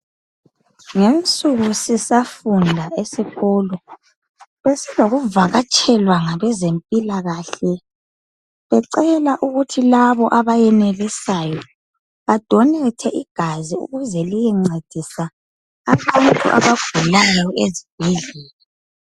Ngezinsuku sisafunda esikolo besiloku vakatshelwa ngabezempilakahle becela ukuthi labo abayenelisayo banikele ngegazi ukuze liyencedisa abantu abagulayo ezibhedlela.